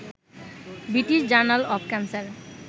British journal of cancer